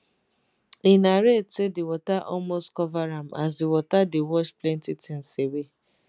e narrate say di water almost cover am as di water dey wash plenti tins away